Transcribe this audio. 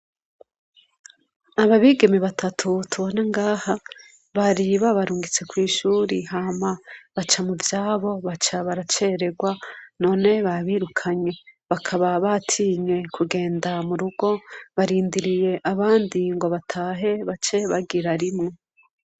Aba bigeme batatu tubona ngaha bari babarungitse kwishuri hama baca muvyabo baca baraceregwa none babirukanye bakaba batinye kugenda murugo barindiriye abandi ngo batahe bace bagira rimwe.